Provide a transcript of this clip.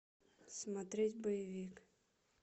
смотреть боевик